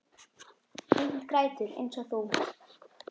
Enginn grætur eins og þú.